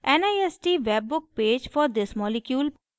nist webbook page for this molecule